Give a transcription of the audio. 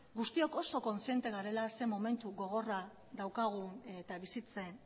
guztiok oso kontziente garela zer momentu gogorra daukagun eta bizitzen